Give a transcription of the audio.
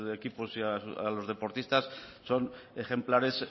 equipos y a los deportistas son ejemplares